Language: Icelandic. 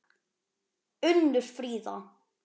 Unnur Fríða.